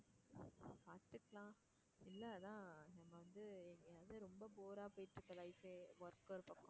இல்ல அதான். இப்போ வந்து எங்க வந்து ரொம்ப bore ஆ போய்ட்டு இருக்க life ஏ work ஒரு பக்கம்,